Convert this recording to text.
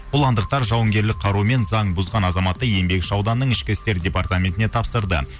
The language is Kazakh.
бұландықтар жауынгерлік қарумен заң бұзған азаматты еңбекші ауданның ішкі істер департаментіне тапсырды